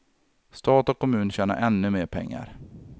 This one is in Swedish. Stat och kommun tjänar ännu mer pengar.